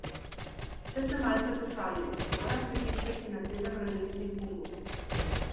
Če se malce pošalim, moram pritiskati na sedem različnih gumbov.